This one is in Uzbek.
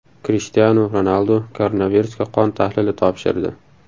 Krishtianu Ronaldu koronavirusga qon tahlili topshirdi.